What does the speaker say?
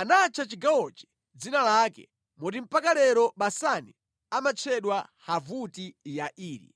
Anatcha chigawochi dzina lake, moti mpaka lero Basani amatchedwa Havoti Yairi).